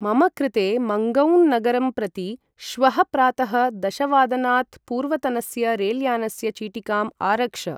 मम कृते मन्गौं नगरं प्रति श्वः प्रातः दशवादनात् पूर्वतनस्य रेल्यानस्य चीटिकाम् आरक्ष ।